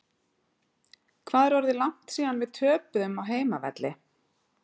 Hvað er orðið langt síðan við töpuðum á heimavelli?